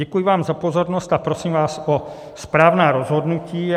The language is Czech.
Děkuji vám za pozornost a prosím vás o správná rozhodnutí.